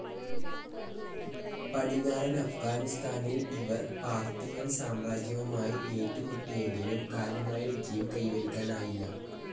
പടിഞ്ഞാറൻ അഫ്ഗാനിസ്താനിൽ ഇവർ പാർത്തിയൻ സാമ്രാജ്യവുമായി ഏറ്റുമുട്ടിയെങ്കിലും കാര്യമായ വിജയം കൈവരിക്കാനായില്ല.